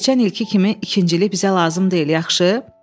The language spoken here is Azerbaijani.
Keçən ilki kimi ikincilik bizə lazım deyil, yaxşı?